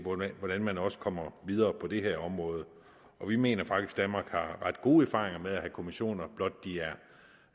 hvordan man også kommer videre på det her område vi mener faktisk at danmark har ret gode erfaringer med at have kommissioner blot de